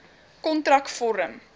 kontrakvorm